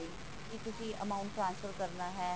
ਕਿ ਤੁਸੀਂ amount transfer ਕਰਨਾ ਹੈ